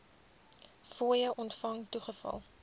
fooie ontvang toegeval